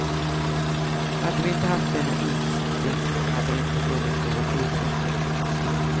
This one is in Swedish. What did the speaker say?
Hade vi inte haft denna instinkt hade det inte funnits någon utveckling.